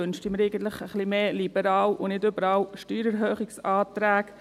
Ich wünschte mir ein bisschen «mehr liberal» und nicht überall Steuererhöhungsanträge.